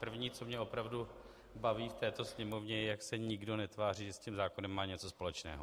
První, co mě opravdu baví v této Sněmovně, je, jak se nikdo netváří, že s tím zákonem má něco společného.